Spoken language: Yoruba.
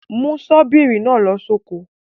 Mú ṣọ́bìrì náà lọ sóko.